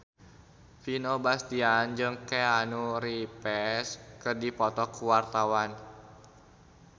Vino Bastian jeung Keanu Reeves keur dipoto ku wartawan